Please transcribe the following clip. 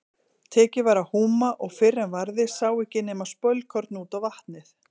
Tekið var að húma og fyrr en varði sá ekki nema spölkorn út á vatnið.